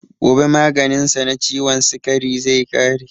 Gobe maganin sa na ciwon sikari zai ƙare